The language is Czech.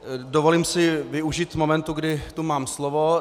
Dovolím si využít momentu, kdy tu mám slovo.